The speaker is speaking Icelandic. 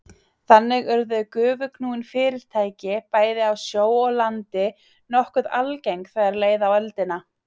Þannig urðu gufuknúin farartæki, bæði á sjó og landi, nokkuð algeng þegar leið á öldina.